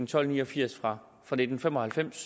tolv ni og firs fra nitten fem og halvfems